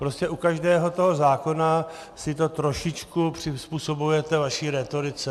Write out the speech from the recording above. Prostě u každého toho zákona si to trošičku přizpůsobujete vaší rétorice.